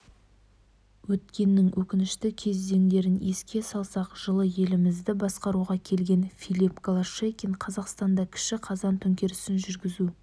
өткеннің өкінішті кезеңдерін еске салсақ жылы елімізді басқаруға келген филипп голощекин қазақстанда кіші қазан төңкерісін жүргізу